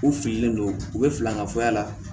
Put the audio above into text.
U fililen don u bɛ fili an ka fɔya la